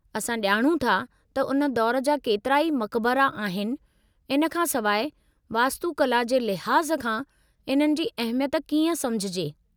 असां ॼाणूं था त उन दौर जा केतिरा ई मक़बरा आहिनि, इन खां सवाइ वास्तुकला जे लिहाज़ खां इन्हनि जी अहमियत कीअं समुझजे?